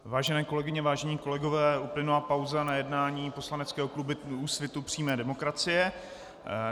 Vážené kolegyně, vážení kolegové, uplynula pauza na jednání poslaneckého klubu Úsvit přímé demokracie.